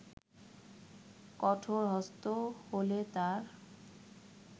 কঠোরহস্ত হলেতার